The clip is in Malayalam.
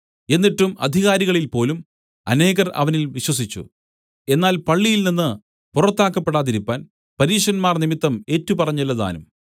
എന്നിട്ടും അധികാരികളിൽപ്പോലും അനേകർ അവനിൽ വിശ്വസിച്ചു എന്നാൽ പള്ളിയിൽനിന്ന് പുറത്താക്കപ്പെടാതിരിപ്പാൻ പരീശന്മാർ നിമിത്തം ഏറ്റുപറഞ്ഞില്ലതാനും